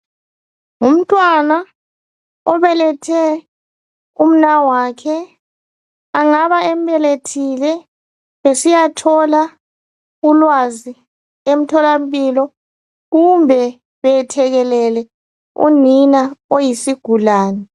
Ngumntwana obelethe umnawakhe , engaba embelethile besiyathola ulwazi emtholampilo kumbe beyethekelele unina oyisigulane